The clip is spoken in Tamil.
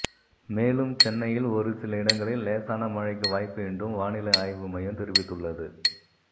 மேலும் சென்னையில் ஒரு சில இடங்களில் லேசான மழைக்கு வாய்ப்பு என்றூம் வானிலை ஆய்வு மையம் தெரிவித்துள்ளது